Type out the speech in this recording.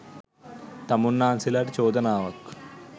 තමුන්නාන්සේලාට චෝදනාවක්.